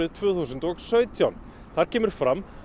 tvö þúsund og sautján þar kemur fram